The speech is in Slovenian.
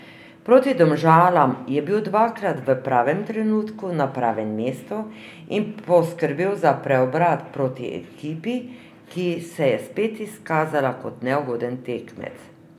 Proti Domžalam je bil dvakrat v pravem trenutku na pravem mestu in poskrbel za preobrat proti ekipi, ki se je spet izkazala kot neugoden tekmec.